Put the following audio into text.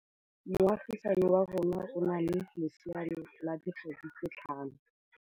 Moagisane wa rona o na le lesea la dikgwedi tse tlhano.